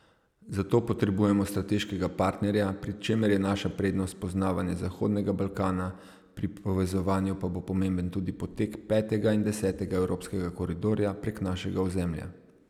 Za to potrebujemo strateškega partnerja, pri čemer je naša prednost poznavanje zahodnega Balkana, pri povezovanju pa bo pomemben tudi potek petega in desetega evropskega koridorja prek našega ozemlja.